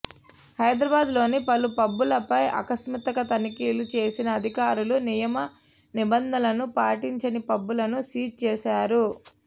హైదరాబాదులోని పలు పబ్ లపై ఆకస్మిక తనిఖీలు చేసిన అధికారులు నియమ నిబంధనలను పాటించని పబ్ లను సీజ్ చేశారు